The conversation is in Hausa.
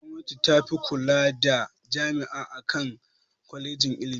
Gwamnati tafi kula da jami'a akan kwalejin ilimi.